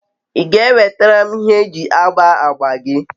i ga enwetara m ihe eji agba agba gi?